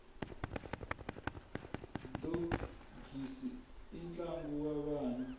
dogisi i ntlangu wa vana